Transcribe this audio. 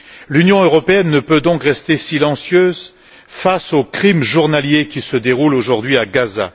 L'Union européenne ne peut rester silencieuse face aux crimes journaliers qui ont lieu aujourd'hui à Gaza.